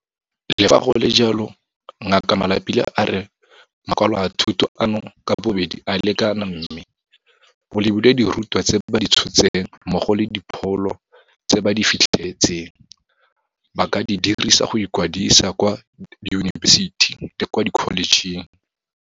Le fa go le jalo, Ngaka Malapile a re makwalo a thuto ano ka bobedi a lekana mme, go lebilwe dirutwa tse ba di tshotseng mmogo le dipholo tse ba di fitlheletseng, ba ka di dirisa go ikwadisa kwa diyunibesiti le kwa dikholejeng.